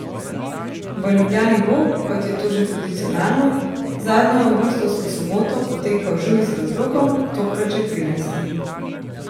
V Ljubljani bo, kot je to že tradicionalno, zadnjo avgustovsko soboto potekal Žur z razlogom, tokrat že trinajsti.